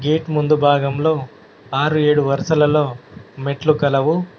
Gate ముందు భాగంలో ఆరు ఏడు వరుసలలో మెట్లు కలవు.